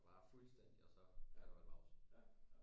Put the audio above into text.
Og bare fuldstændig og så kan du holde pause